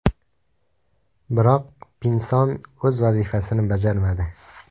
Biroq, Pinson o‘z vazifasini bajarmadi.